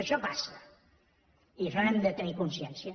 això passa i d’això n’hem de tenir consciència